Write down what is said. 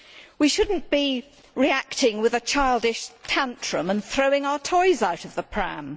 We should not be reacting with a childish tantrum and by throwing our toys out of the pram.